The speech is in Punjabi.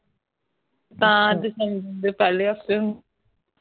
ਜਹਾਂ december ਦੇ ਪਹਿਲੇ ਹਫਤੇ